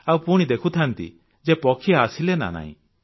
ଆଉ ପୁଣି ଦେଖୁଥାନ୍ତି ଯେ ପକ୍ଷୀ ଆସିଲେ ନା ନାହିଁ